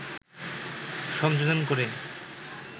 সংযোজন করে